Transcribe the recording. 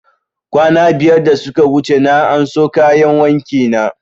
Kwana biyar da suka wuce na anso kayan wanki na